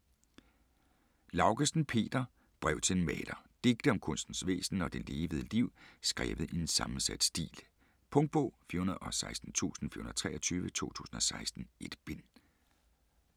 Laugesen, Peter: Brev til en maler Digte om kunstens væsen og det levede liv skrevet i en sammensat stil. Punktbog 416423 2016. 1 bind.